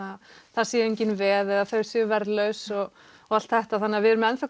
þar séu engin veð eða þau séu verðlaus og og allt þetta þannig að við erum ennþá